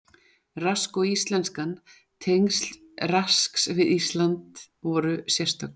Rask og íslenskan Tengsl Rasks við Ísland voru sérstök.